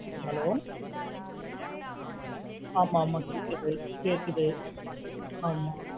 Hello ஆமா ஆமா கேக்குது கேக்குது ஆமா.